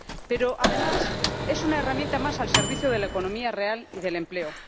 Pero, además, es una herramienta más al servicio de la economía real y del empleo.